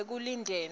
ekulindeni